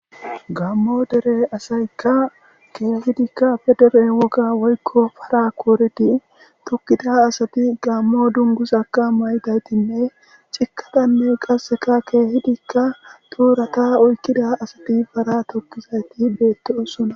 Gammo dere asaykka keehidikka federe woga woykko para kooridi tukkida asati gammo dungusaka maydaytinne cikadanne qasseka keehidikka tuurata oykkida asati bara tokkizayti beettio sona.